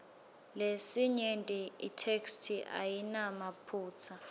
lesinyenti itheksthi ayinamaphutsa